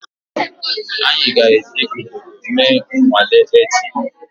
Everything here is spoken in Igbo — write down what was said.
Anyị ga-eji udodo mee nnwale echi.